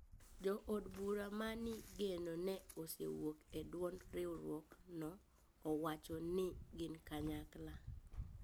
Jo od bura ma ni geno ne osewuok e duond ruiruok no owacho ni gin kanyakla